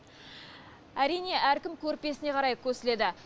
әрине әркім көрпесіне қарай көсіледі